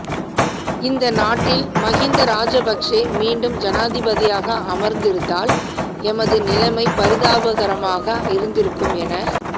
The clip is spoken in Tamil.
இந்த நாட்டில் மகிந்த ராஜபக்ச மீண்டும் ஜனாதிபதியாக அமர்ந்திருந்தால் எமது நிலைமை பரிதாபகரமாக இருந்திருக்கும் என